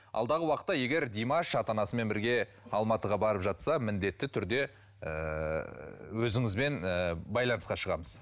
алдағы уақытта егер димаш ата анасымен бірге алматыға барып жатса міндетті түрде ыыы өзіңізбен ыыы байланысқа шығамыз